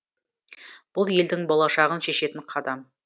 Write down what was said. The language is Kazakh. бұл елдің болашағын шешетін қадам